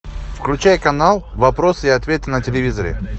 включай канал вопросы и ответы на телевизоре